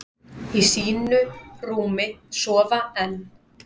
Í sínu rúmi sofa enn,